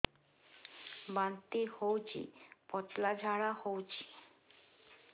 ବାନ୍ତି ହଉଚି ପତଳା ଝାଡା ହଉଚି